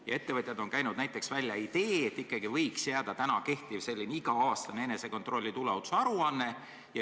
Ja ettevõtjad on käinud välja idee, et ikkagi võiks jääda praegune iga-aastane enesekontrolli tuleohutusaruanne.